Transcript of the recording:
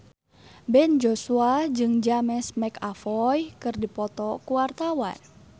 Ben Joshua jeung James McAvoy keur dipoto ku wartawan